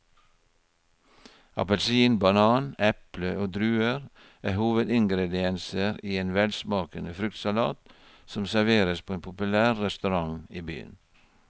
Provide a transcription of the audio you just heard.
Appelsin, banan, eple og druer er hovedingredienser i en velsmakende fruktsalat som serveres på en populær restaurant i byen.